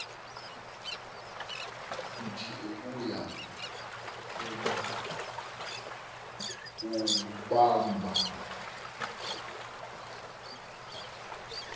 nith ukuya kumbamba